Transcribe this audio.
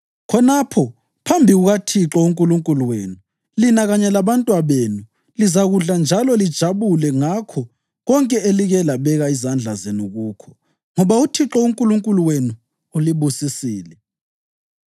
Khonapho, phambi kukaThixo uNkulunkulu wenu, lina kanye labantwabenu lizakudla njalo lijabule ngakho konke elike labeka izandla zenu kukho, ngoba uThixo uNkulunkulu wenu ulibusisile.